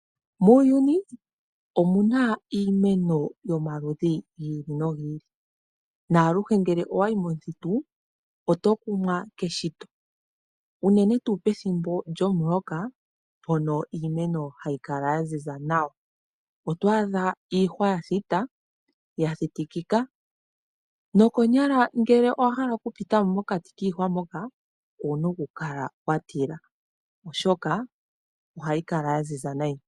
Muuyuni omu na iimeno yomaludhi gi ili nogi ili. Aluhe ngele owa yi momuthitu oto kumwa keshito, unene tuu ngele owa yi mo pethimbo lyomuloka mpono iimeno hayi kala ya ziza nawa. Oto adha iihwa ya thita ya thitikika nokonyala ngele owa hala okupita mo mokati kiihwa moka owu na okukala wa tila, oshoka ohayi kala ya ziza noonkondo.